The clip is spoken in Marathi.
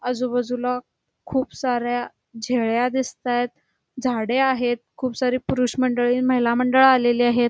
आजूबाजूला खूप साऱ्या झेळ्या दिसतायत झाडे आहेत खूप सारे पुरुष मंडळी महिला मंडळ आलेले आहेत.